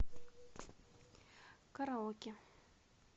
караоке